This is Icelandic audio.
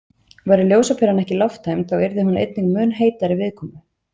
Væri ljósaperan ekki lofttæmd þá yrði hún einnig mun heitari viðkomu.